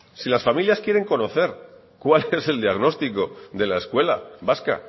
si las familias quieren conocer cuál es el diagnóstico de la escuela vasca